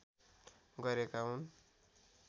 गरेका हुन्